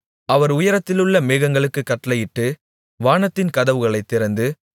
அவர் உயரத்திலுள்ள மேகங்களுக்குக் கட்டளையிட்டு வானத்தின் கதவுகளைத் திறந்து